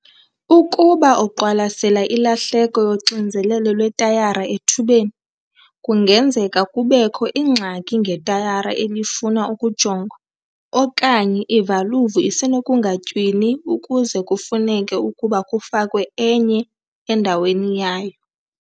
Ukuba uqwalasela ilahleko yoxinzelelo lwetayara ethubeni, kungenzeka kubekho ingxaki ngetayara elifuna ukujongwa okanye ivaluvu isenokungatywini ukuze kufuneke ukuba kufakwe enye endaweni yayo.